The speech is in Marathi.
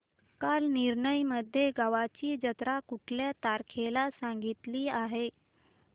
कालनिर्णय मध्ये गावाची जत्रा कुठल्या तारखेला सांगितली आहे